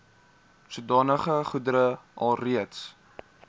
sodanige goedere alreeds